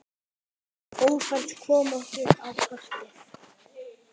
Ófærð kom okkur á kortið.